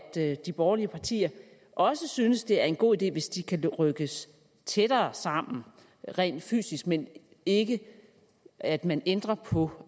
de borgerlige partier også synes at det er en god idé hvis de kan rykkes tættere sammen rent fysisk men ikke at man ændrer på